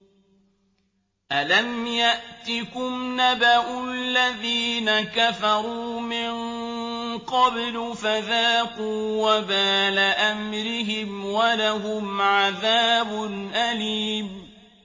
أَلَمْ يَأْتِكُمْ نَبَأُ الَّذِينَ كَفَرُوا مِن قَبْلُ فَذَاقُوا وَبَالَ أَمْرِهِمْ وَلَهُمْ عَذَابٌ أَلِيمٌ